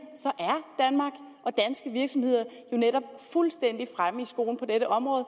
er virksomheder jo netop fuldstændig fremme i skoene på dette område